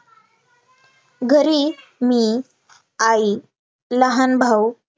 घरी मी, आई, लहान भाऊ,